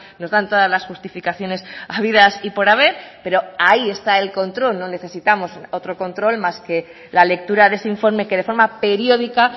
nos dan todas las justificaciones habidas y por haber pero ahí está el control no necesitamos otro control más que la lectura de ese informe que de forma periódica